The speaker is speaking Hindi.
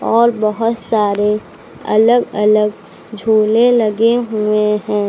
और बहुत सारे अलग अलग झूले लगे हुए हैं।